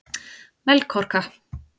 Melkorka